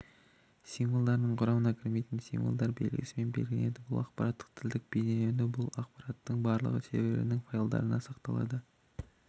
символдарының құрамына кірмейтін символдар белгісімен белгіленеді бұл ақпараттық тілдік бейнеленуі бұл ақпараттың барлығы серверінің файлдарында сақталады